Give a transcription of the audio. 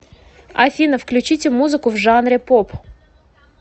афина включите музыку в жанре поп